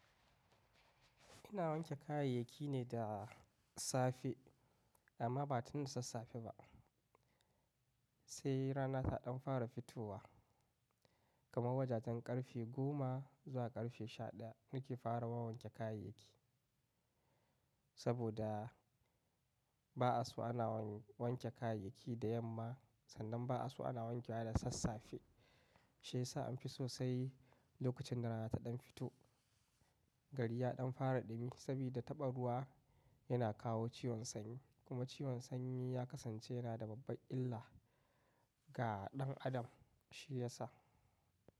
Ina wanke kayayyaki ne da safe amma ba tun da sassafe ba, sai rana ta ɗan fara fitowa. Kaman wajajen ƙarfe goma zuwa ƙarfe sha ɗaya nake fara wanke kayaryaki saboda ba'a so ana wanke kayayyaki da yamma, sannan ba'a so ana wankewa da sassafe. Shi ya sa an fi so sai lokacin da rana ta ɗan fito. Gari ya ɗan fara ɗumi, sabida taɓa ruwa yana kawo ciwon sanyi kuma ciwon sanyi ya kasance yana da babban illa ga ɗan adam shi ya sa.